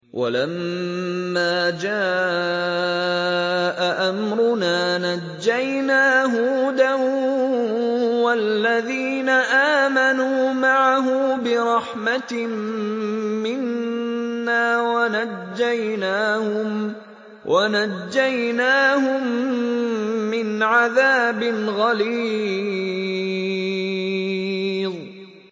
وَلَمَّا جَاءَ أَمْرُنَا نَجَّيْنَا هُودًا وَالَّذِينَ آمَنُوا مَعَهُ بِرَحْمَةٍ مِّنَّا وَنَجَّيْنَاهُم مِّنْ عَذَابٍ غَلِيظٍ